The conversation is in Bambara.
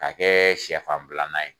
K'a kɛ sɛfan bilanan ye